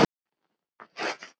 Hvað um Thomas?